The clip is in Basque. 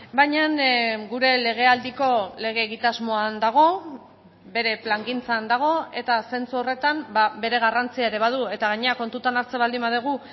baina gure lege aldiko lege egitasmoan dago bere plangintzan dago eta zentzu horretan bere garrantzia ere badu eta gainera kontutan hartzen baldin badugu